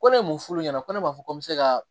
Ko ne m'u f'u ɲɛna ko ne b'a fɔ ko n bɛ se ka